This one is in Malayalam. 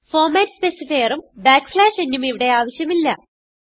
ഫോർമാറ്റ് specifierഉം nഉം ഇവിടെ ആവശ്യമില്ല